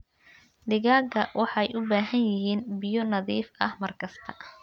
Digaagga waxay u baahan yihiin biyo nadiif ah mar kasta.